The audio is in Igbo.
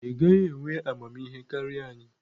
ị gaghị enwe amamihe karịa anyị!